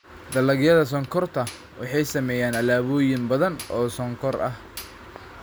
Dalagyada sonkorta waxay sameeyaan alaabooyin badan oo sonkor ah.